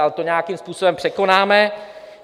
Ale to nějakým způsobem překonáme.